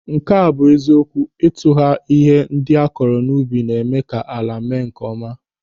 Nke a bụ eziokwu, ịtụgwa ihe ndị akụrụ n'ubi na-eme ka ala mee nkeọma.